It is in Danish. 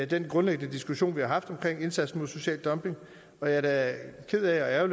den grundlæggende diskussion vi har haft om indsatsen mod social dumping og jeg er da ked af og